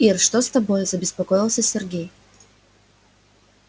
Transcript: ир что с тобой забеспокоился сергей